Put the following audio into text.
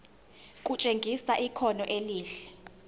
kutshengisa ikhono elihle